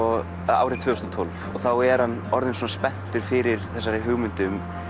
árið tvö þúsund og tólf og þá er hann orðinn spenntur fyrir þessari hugmynd